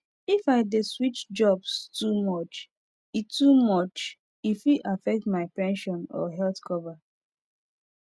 if i dey switch jobs too much e too much e fit affect my pension or health cover